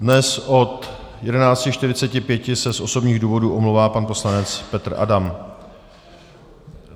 Dnes od 11.45 se z osobních důvodů omlouvá pan poslanec Petr Adam.